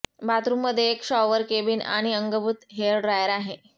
बाथरूममध्ये एक shower cabin आणि अंगभूत हेयर ड्रायर आहे